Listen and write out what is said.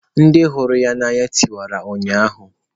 Ndị hụrụ ya n'anya tiwara ụnyaahụ.